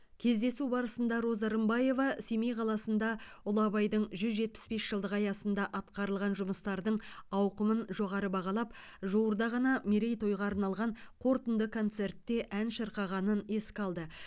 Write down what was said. кездесу барысында роза рымбаева семей қаласында ұлы абайдың жүз жетпіс бес жылдығы аясында атқарылған жұмыстардың ауқымын жоғары бағалап жуырда ғана мерейтойға арналған қорытынды концертте ән шырқағанын еске алды